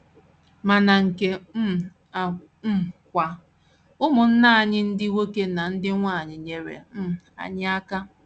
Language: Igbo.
Ma na nke um a um kwa, ụmụnna anyị ndị nwoke na ndị nwanyị nyeere um anyị aka.